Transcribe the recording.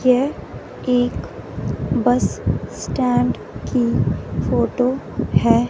यह एक bus stand की फोटो है।